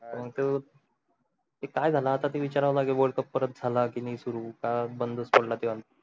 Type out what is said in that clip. ते काय जाल आता ते विचाराव लागेल world cup परत जाला कि नाही सुरु का बंद च पडला